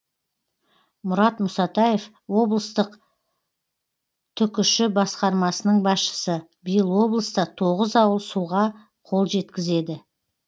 мұрат мұсатаев облыстық түкш басқармасының басшысы биыл облыста тоғыз ауыл суға қол жеткізеді